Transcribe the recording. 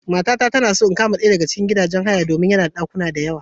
Matata tana so in kama ɗaya daga cikin sababbin gidajen haya domin yana da ɗakuna da yawa.